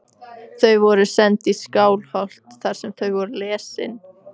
Þau voru send í Skálholt þar sem þau voru lesin.